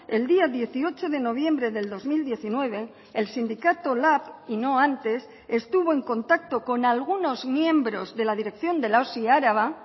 el día dieciocho de noviembre del dos mil diecinueve el sindicato lab y no antes estuvo en contacto con algunos miembros de la dirección de la osi araba